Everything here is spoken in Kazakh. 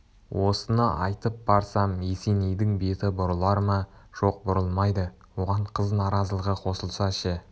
осыны айтып барсам есенейдің беті бұрылар ма жоқ бұрылмайды оған қыз наразылығы қосылса ше